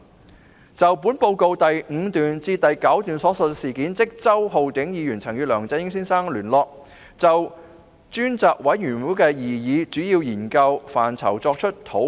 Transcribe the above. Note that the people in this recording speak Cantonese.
根據少數報告第5至9段，周浩鼎議員曾與梁振英先生聯絡，就專責委員會的擬議主要研究範疇作出討論。